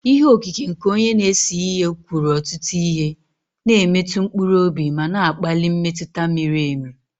Ihe okike nke onye na-ese ihe kwuru ọtụtụ ihe, na-emetụ mkpụrụ obi ma na-akpali mmetụta miri emi